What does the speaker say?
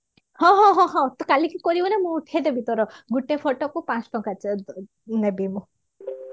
ହଁ ତୁ କାଲି କି କରିବୁ ନା ମୁଁ ଉଠେଇ ଦେବି ତୋର ଗୋଟେ ଗୁଟେ photo କୁ ପାଞ୍ଚଟଙ୍କା ନେବି ମୁଁ